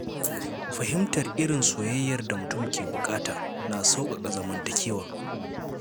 Fahimtar irin soyayyar da mutum ke buƙata na sauƙaƙa zamantakewa.